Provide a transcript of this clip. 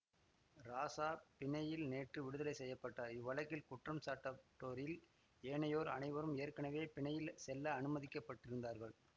ராசா பிணையில் நேற்று விடுதலை செய்ய பட்டார் இவ்வழக்கில் குற்றம் சாட்டப்பட்டோரில் ஏனையோர் அனைவரும் ஏற்கனவே பிணையில் செல்ல அனுமதிக்கப்பட்டிருந்தார்கள்